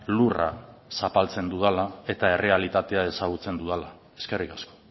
lurra zapaltzen dudala eta errealitatea ezagutzen dudala eskerrik asko